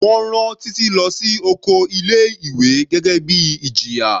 Wọ́n rán Títí lọ sí oko ilé ìwé gẹ́gẹ́ bíi ìjìyà.